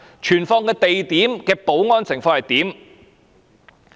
存放地點的保安情況如何？